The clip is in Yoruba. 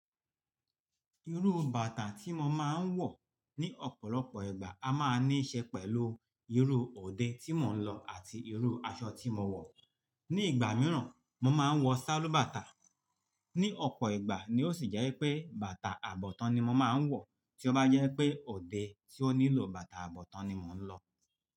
Irú bàtà tí mo máa ń wọ̀ ní ọ̀pọ̀lọpọ̀ ìgbà a máa níí ṣe pẹ̀lú irú òde tí mò ń lọ àti irú aṣọ tí mo wọ̀. Ni ìgbà mìíràn, mo máa ń wọ sálúbàtà. Ni ọ̀pọ̀ ìgbà ni ó sì jẹ́ wipé bàtà àbọ̀tán ni mo máa ń wọ̀ tí ó bá jẹ́ pé òde tí ó nílò bàtà àbọ̀tán ni mò ń lọ.